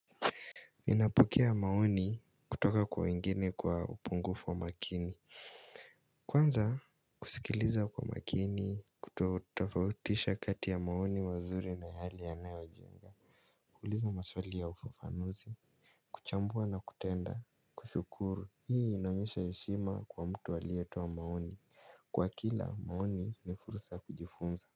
Ninapokea maoni kutoka kwa wengine kwa upungufu wa makini. Kwanza kusikiliza kwa makini kuto utafautisha kati ya maoni wazuri na hali ya nae wa jinga. Kuhuliza maswali ya ufafanuzi. Kuchambua na kutenda. Kushukuru. Hii inaonyesha eshima kwa mtu alietoa maoni. Kwa kila maoni ni fursa ya kujifunza.